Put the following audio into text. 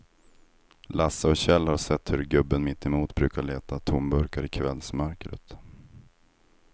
Lasse och Kjell har sett hur gubben mittemot brukar leta tomburkar i kvällsmörkret.